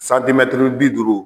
bi duuru.